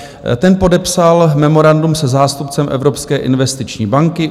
Ten podepsal memorandum se zástupcem Evropské investiční banky.